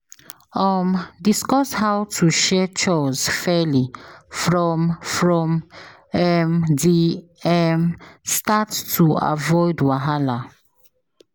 um Discuss how to share chores fairly from from um the um start to avoid wahala.